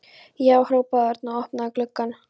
Já! hrópaði Örn og opnaði gluggann.